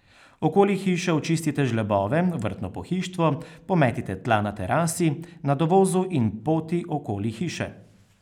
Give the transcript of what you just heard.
Okoli hiše očistite žlebove, vrtno pohištvo, pometite tla na terasi, na dovozu in poti okoli hiše.